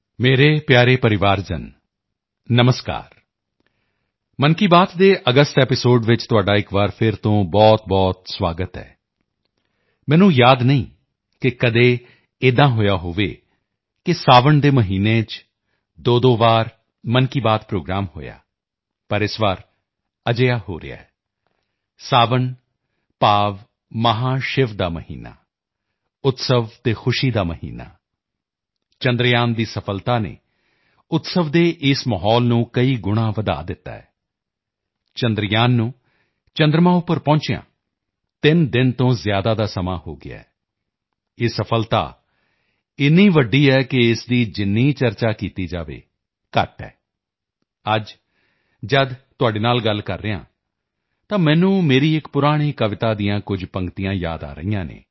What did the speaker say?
ਮੇਰੇ ਪਿਆਰੇ ਪਰਿਵਾਰਜਨ ਨਮਸਕਾਰ ਮਨ ਕੀ ਬਾਤ ਦੇ ਅਗਸਤ ਐਪੀਸੋਡ ਚ ਤੁਹਾਡਾ ਇੱਕ ਵਾਰ ਫਿਰ ਤੋਂ ਬਹੁਤਬਹੁਤ ਸੁਆਗਤ ਹੈ ਮੈਨੂੰ ਯਾਦ ਨਹੀਂ ਕਿ ਕਦੇ ਏਦਾਂ ਹੋਇਆ ਹੋਵੇ ਕਿ ਸਾਵਣ ਦੇ ਮਹੀਨੇ ਚ ਦੋਦੋ ਵਾਰ ਮਨ ਕੀ ਬਾਤ ਪ੍ਰੋਗਰਾਮ ਹੋਇਆ ਪਰ ਇਸ ਵਾਰ ਅਜਿਹਾ ਹੋ ਰਿਹਾ ਹੈ ਸਾਵਣ ਯਾਨੀ ਮਹਾਸ਼ਿਵ ਦਾ ਮਹੀਨਾ ਉਤਸਵ ਅਤੇ ਖੁਸ਼ੀ ਦਾ ਮਹੀਨਾ ਚੰਦਰਯਾਨ ਦੀ ਸਫ਼ਲਤਾ ਨੇ ਉਤਸਵ ਦੇ ਇਸ ਮਾਹੌਲ ਨੂੰ ਕਈ ਗੁਣਾਂ ਵਧਾ ਦਿੱਤਾ ਹੈ ਚੰਦਰਯਾਨ ਨੂੰ ਚੰਦਰਮਾ ਉੱਪਰ ਪਹੁੰਚਿਆਂ 3 ਦਿਨ ਤੋਂ ਜ਼ਿਆਦਾ ਦਾ ਸਮਾਂ ਹੋ ਗਿਆ ਹੈ ਇਹ ਸਫ਼ਲਤਾ ਏਨੀ ਵੱਡੀ ਹੈ ਕਿ ਇਸ ਦੀ ਜਿੰਨੀ ਚਰਚਾ ਕੀਤੀ ਜਾਵੇ ਘੱਟ ਹੈ ਅੱਜ ਜਦ ਤੁਹਾਡੇ ਨਾਲ ਗੱਲ ਕਰ ਰਿਹਾ ਹਾਂ ਤਾਂ ਮੈਨੂੰ ਮੇਰੀ ਇੱਕ ਪੁਰਾਣੀ ਕਵਿਤਾ ਦੀਆਂ ਕੁਝ ਪੰਗਤੀਆਂ ਯਾਦ ਆ ਰਹੀਆਂ ਹਨ